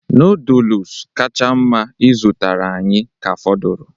Noodolus kacha mma ị zụtara anyị ka fọdụrụ